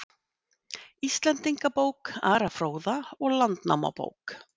Íslendingabók Ara fróða og Landnámabók